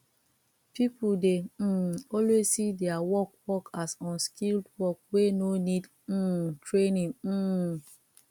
people dey um always see their work work as unskilled work wey no need um training um